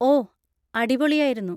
ഓ, അടിപൊളിയായിരുന്നു!